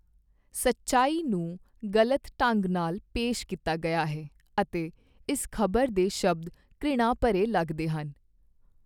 ਸੱਚਾਈ ਨੂੰ ਗਲਤ ਢੰਗ ਨਾਲ ਪੇਸ਼ ਕੀਤਾ ਗਿਆ ਹੈ ਅਤੇ ਇਸ ਖ਼ਬਰ ਦੇ ਸ਼ਬਦ ਘ੍ਰਿਣਾ ਭਰੇ ਲਗਦੇ ਹਨ।